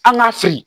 An k'a fili